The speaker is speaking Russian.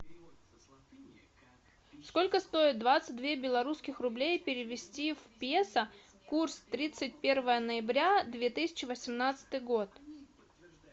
сколько стоит двадцать две белорусских рублей перевести в песо курс тридцать первое ноября две тысячи восемнадцатый год